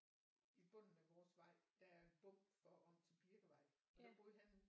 I bunden af vores vej der er en bum for om til Birkevej og der boede han